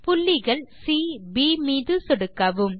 புள்ளிகள் chip மீது சொடுக்கவும்